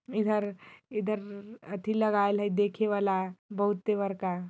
इधर-इधर एथी लगाइल हई देखे वाला बहुत ही बड़का --